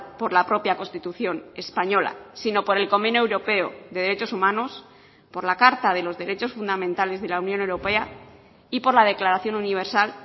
por la propia constitución española sino por el convenio europeo de derechos humanos por la carta de los derechos fundamentales de la unión europea y por la declaración universal